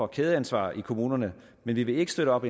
kædeansvar i kommunerne men vi vil ikke støtte op